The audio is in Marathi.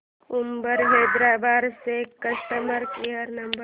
उबर हैदराबाद चा कस्टमर केअर नंबर